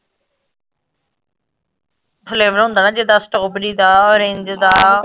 flavor ਹੁੰਦਾ ਨਾ ਜਿਦਾਂ strawberry ਦਾ ਓਰੰਜ ਦਾ